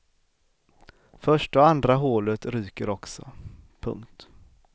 Första och andra hålet ryker också. punkt